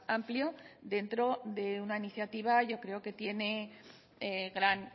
amplio dentro de una iniciativa yo creo que tiene gran